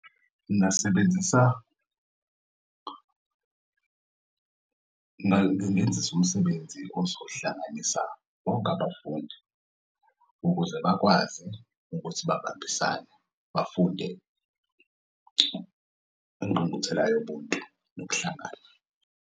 Ngingasebenzisa uma bengenzisa umsebenzi ozohlanganisa bonke abafundi ukuze bakwazi ukuthi babambisane bafunde ingqungquthela yobuntu nokuhlangana.